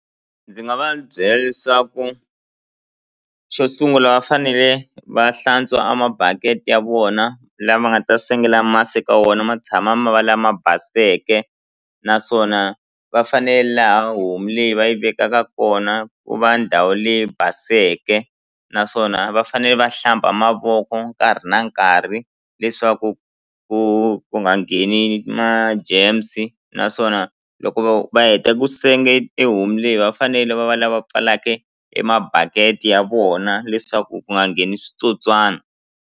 Ndzi nga va byela leswaku xo sungula va fanele va hlantswa a mabaketi ya vona la ma nga ta sengela masi ka wona ma tshama ma va lama baseke naswona va fanele laha homu leyi va yi vekaka kona ku va ndhawu leyi baseke naswona va fanele va hlamba mavoko nkarhi na nkarhi leswaku ku ku nga ngheni ma germs naswona loko vo va heta ku senge ehomu leyi va fanele va va lava pfalake e mabaketi ya vona leswaku ku nga ngheni switsotswana.